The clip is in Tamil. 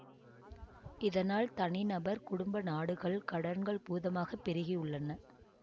இதனால் தனிநபர் குடும்ப நாடுகள் கடன்கள் பூதமாக பெருகி உள்ளன